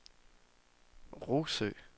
Rougsø